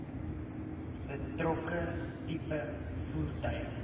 betrokke tipe voertuig